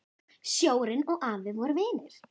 Sjórinn og afi voru vinir.